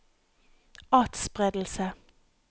atspredelse